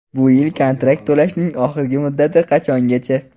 Bu yil kontrakt to‘lashning oxirgi muddati qachongacha?.